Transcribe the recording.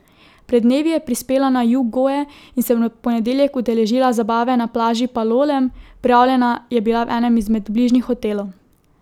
Pred dnevi je prispela na jug Goe in se v ponedeljek udeležila zabave na plaži Palolem, prijavljena pa je bila v enem od bližnjih hotelov.